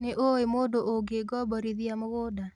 Nĩũĩ mũndũ ũngĩngomborithia mũgũnda?